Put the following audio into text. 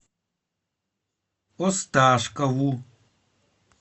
осташкову